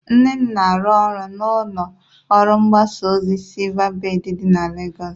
Nne m na-arụ ọrụ na ụlọ ọrụ mgbasa ozi SilvaBèd dị na Legọs